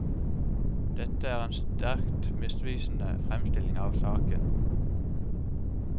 Dette er en sterkt misvisende fremstilling av saken.